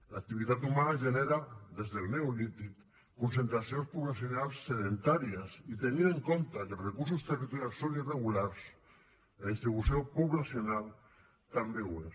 l’activitat humana genera des del neolític concentracions poblacionals sedentàries i tenint en compte que els recursos territorials són irregulars la distribució poblacional també ho és